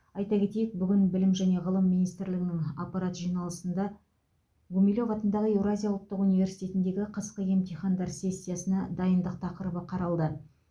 айта кетейік бүгін білім және ғылым министрлігінің аппарат жиналысында гумилев атындағы еуразия ұлттық университетіндегі қысқы емтихандар сессиясына дайындық тақырыбы қаралды